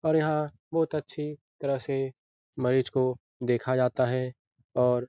और यहाँ बोत अच्छी तरह से मरीज को देखा जाता है और --